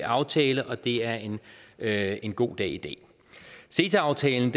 aftale og det er en er en god dag i dag ceta aftalen